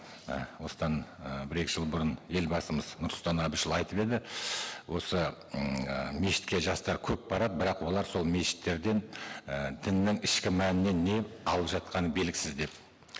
і осыдан і бір екі жыл бұрын елбасымыз нұрсұлтан әбішұлы айтып еді осы м і мешітке жастар көп барады бірақ олар сол мешіттерден і діннің ішкі мәнінен не алып жатқаны белгісіз деп